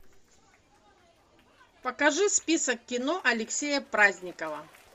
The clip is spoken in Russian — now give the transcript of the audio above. покажи список кино алексея праздникова